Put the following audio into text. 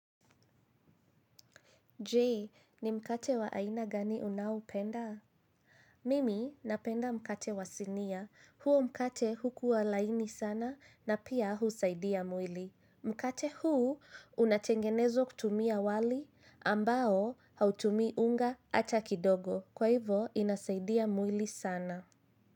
Je! Ni mkate wa aina gani unaoupenda? Mimi napenda mkate wa sinia. Huo mkate hukua laini sana na pia husaidia mwili. Mkate huu unatengenezwa kutumia wali, ambao hautumii unga hata kidogo. Kwa hivo, inasaidia mwili sana.